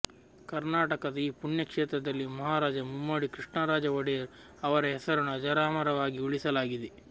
ಕರ್ನಾಟಕದ ಈ ಪುಣ್ಯ ಕ್ಷೇತ್ರದಲ್ಲಿ ಮಹಾರಾಜ ಮುಮ್ಮಡಿ ಕೃಷ್ಣರಾಜ ಒಡೆಯರ್ ಅವರ ಹೆಸರನ್ನು ಅಜರಾಮರವಾಗಿ ಉಳಿಸಲಾಗಿದೆ